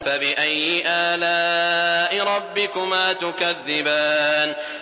فَبِأَيِّ آلَاءِ رَبِّكُمَا تُكَذِّبَانِ